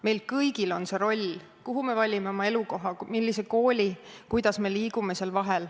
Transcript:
Meil kõigil on see roll: kuhu me valime oma elukoha, millise kooli me valime, kuidas me nende vahel liigume.